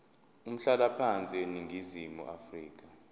umhlalaphansi eningizimu afrika